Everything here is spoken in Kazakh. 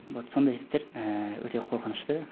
вот сондай істер ііі өте корқынышты